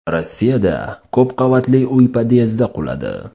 Rossiyada ko‘p qavatli uy podyezdi quladi.